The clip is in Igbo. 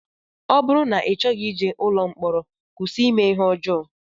Ọ bụrụ na I chọghị ije ụlọ mkpọrọ kwụsị ime ihe ọjọọ